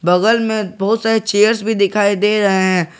बगल में बहुत सारे चेयर्स भी दिखाई दे रहे हैं।